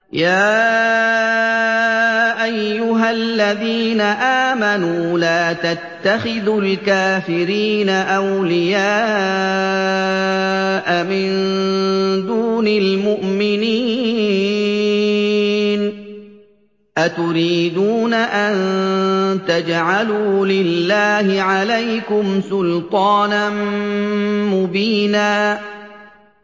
يَا أَيُّهَا الَّذِينَ آمَنُوا لَا تَتَّخِذُوا الْكَافِرِينَ أَوْلِيَاءَ مِن دُونِ الْمُؤْمِنِينَ ۚ أَتُرِيدُونَ أَن تَجْعَلُوا لِلَّهِ عَلَيْكُمْ سُلْطَانًا مُّبِينًا